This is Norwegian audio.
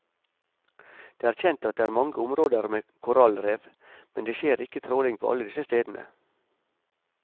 Det er kjent at det er mange områder med korallrev, men det skjer ikke tråling på alle disse stedene.